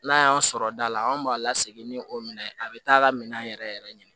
N'a y'an sɔrɔ da la anw b'a la segin ni o minɛn a bɛ taa ka minɛn yɛrɛ yɛrɛ ɲini